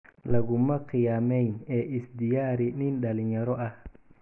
Laguma khiyaamayn ee is diyaari nin dhallinyaro ah.